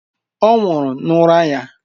Ọ nwụrụ n'ụra ya.